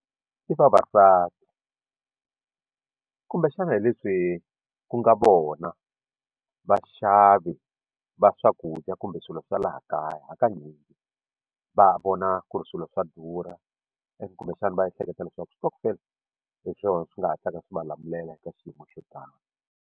I vavasati kumbexana hi leswi ku nga vona vaxavi va swakudya kumbe swilo swa laha kaya hakanyingi va vona ku ri swilo swa durha and kumbexana va ehleketa leswaku stockvel hi swona swi nga hatlaka swi va lamulela ka xiyimo xo tani.